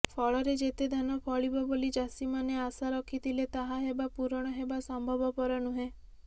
ଫଳରେ ଯେତେ ଧାନ ଫଳିବ ବୋଲି ଚାଷୀମାନେ ଆଶା ରଖିଥିଲେ ତାହା ହେବା ପୂରଣ ହେବା ସମ୍ଭବପର ନୁହେଁ